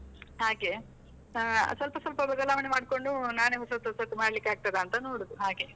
ಹಾಗೆ, ಆ ಸ್ವಲ್ಪ ಸ್ವಲ್ಪ ಬದಲಾವಣೆ ಮಾಡ್ಕೊಂಡು ನಾನೆ ಹೊಸತ್ ಹೊಸತ್ ಮಾಡ್ಲಿಕ್ಕಾಗ್ತದಾ ಅಂತ ನೋಡುದು, ಹಾಗೆ.